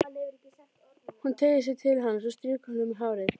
Hún teygir sig til hans og strýkur honum um hárið.